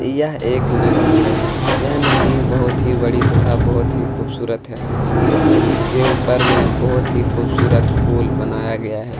यह एक नदी है यह नदी बहुत ही बड़ी तथा बहुत ही खूबसूरत है इस नदी के ऊपर में बहुत ही खूबसूरत फूल बनाया गया है।